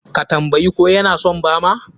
Ka tambayi ko ya na son bama?